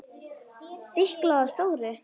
Stiklað á stóru